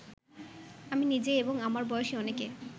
আমি নিজে এবং আমার বয়সী অনেকে